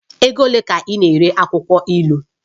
Ego ole ka ị na-ere akwụkwọ ilu?